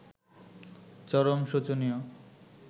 চরম শোচনীয়